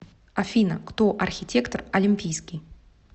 афина кто архитектор олимпийский